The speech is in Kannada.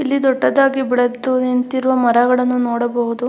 ಇಲ್ಲಿ ದೊಡ್ಡದಾಗಿ ಬೆಳೆದು ನಿಂತಿರುವ ಮರಗಳನ್ನು ನೋಡಬಹುದು.